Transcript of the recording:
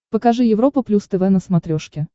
покажи европа плюс тв на смотрешке